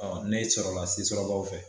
Ɔ Ne sɔrɔla la Sisolakaw fɛ.